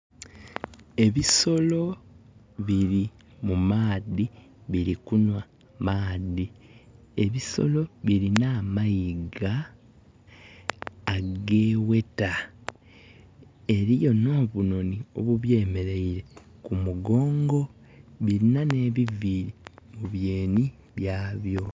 Ebisolo bili mu maadhi bili kunhwa maadhi. Ebisolo bilinha amayiga agegheta. Eliyo nh'obunhonhi obubyemeleire kumugongo. Bilina nh'ebiviiri ku byenhi byabyo.